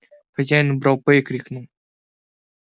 хозяин убрал п и крикнул